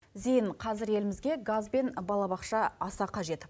зейін қазір елімізге газ бен балабақша аса қажет